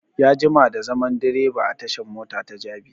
Ya jima da zaman direba a tashan mota ta jabi